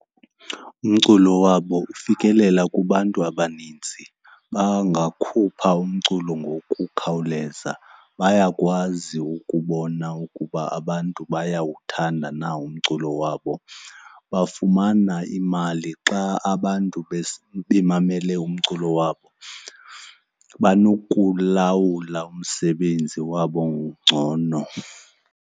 Umculo wabo ufikelela kubantu abanintsi. Bangakhupha umculo ngokukhawuleza, bayakwazi ukubona ukuba abantu bayawuthanda na umntu mculo wabo. Bafumana imali xa abantu bemamele umculo wabo, banokuwulawula umsebenzi wabo ngcono.